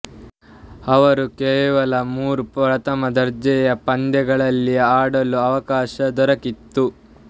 ಅವರು ಕೇವಲ ಮೂರು ಪ್ರಥಮ ದರ್ಜೆಯ ಪಂದ್ಯಗಳಲ್ಲಿ ಆಡಲು ಅವಕಾಶ ದೊರಕಿತು